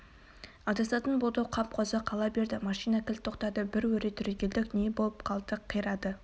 адасатын болды-ау қап қозы қала берді машина кілт тоқтады бір өре түрегелдік не боп қалды қирады